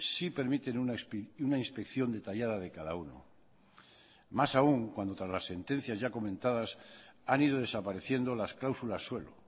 sí permiten una inspección detallada de cada uno más aún cuando tras las sentencias ya comentadas han ido desapareciendo las cláusulas suelo